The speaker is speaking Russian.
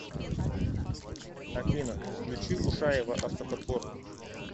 афина включи ушаева автоподбор